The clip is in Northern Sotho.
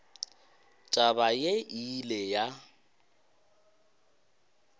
taba yeo e ile ya